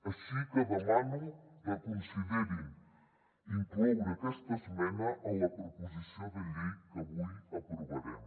així que demano que reconsiderin incloure aquesta esmena en la proposició de llei que avui aprovarem